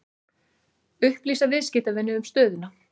Upplýsa viðskiptavini um stöðuna